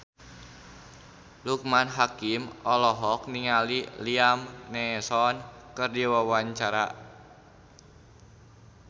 Loekman Hakim olohok ningali Liam Neeson keur diwawancara